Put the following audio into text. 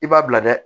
I b'a bila dɛ